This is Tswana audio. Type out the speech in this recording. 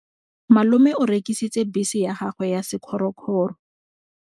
Malome o rekisitse bese ya gagwe ya sekgorokgoro.